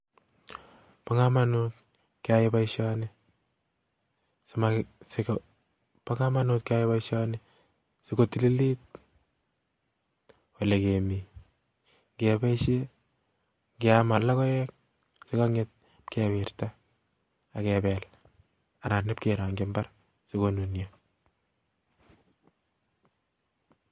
Bo komonut keyai boishoni sikotililit ole kemii, ngeam logoek chekonget kewirtaa ak kebel anan iokerongyi imbar sikonunio